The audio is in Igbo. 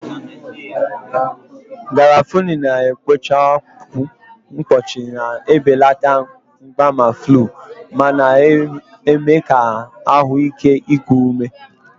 Garafuni na-ekpochapụ mkpọchi, na-ebelata mgbaàmà flu, ma na-eme ka ahụ ike iku ume.